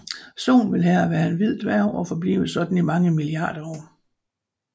Solen vil her være en hvid dværg og forblive sådan i mange milliarder år